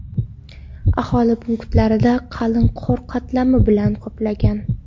Aholi punktlari qalin qor qatlami bilan qoplangan.